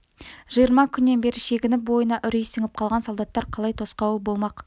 жиырма күннен бері шегініп бойына үрей сіңіп қалған солдаттар қалай тосқауыл болмақ